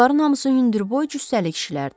Bunların hamısı hündürboy cüssəli kişilərdir.